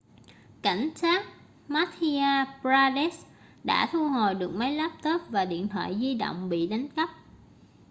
cảnh sát madhya pradesh đã thu hồi được máy laptop và điện thoại di động bị đánh cắp